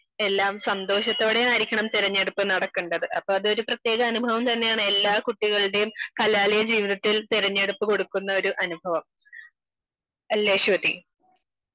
എല്ലാം സന്തോഷത്തോടെയും ആയിരിക്കണം തിരഞ്ഞെടുപ്പ് നടക്കേണ്ടത് അപ്പൊ അതൊരു പ്രത്യേക അനുഭവം തന്നെയാണ് എല്ലാ കുട്ടികളുടെയും കലാലയ ജീവിതത്തിൽ തിരഞ്ഞെടുപ്പ് കൊടുക്കുന്ന ഒരു അനുഭവം, അല്ലെ അശ്വതി ?